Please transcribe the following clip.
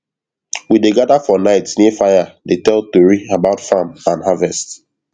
we dey gather for night near fire dey tell tori about farm and harvest